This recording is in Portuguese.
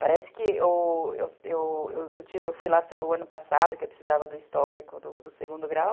Parece que, o, eu fui lá o ano passado, que eu precisava do histórico do segundo grau.